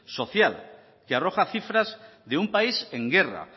social que arroja cifras de un país en guerra